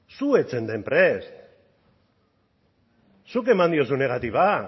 zu ez zeunden prest zuk eman diozunagatik